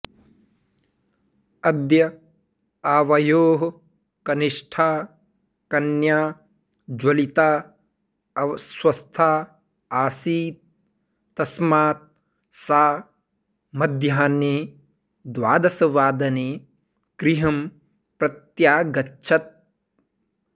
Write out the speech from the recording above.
अद्य आवयोः कनिष्ठा कन्या ज्वलिता अस्वस्था आसीत् तस्मात् सा मध्याह्ने द्वादशवादने गृहं प्रत्यागच्छत्